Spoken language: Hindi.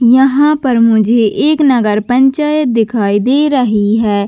यहाँ पर मुझे एक नगर पंचायत दिखाई दे रही है।